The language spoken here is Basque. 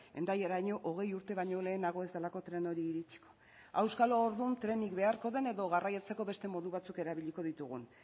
hendaiaraino hogei urte baino lehenago ez delako tren hori iritsiko auskalo orduan trenik beharko den edo garraiatzeko beste modu batzuk erabiliko ditugun